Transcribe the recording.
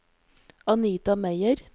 Anita Meyer